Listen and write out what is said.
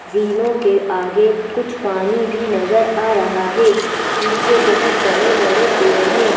झीलों के आगे कुछ पानी भी नजर आ रहा है पीछे बहुत बड़े-बड़े पेड़ हैं।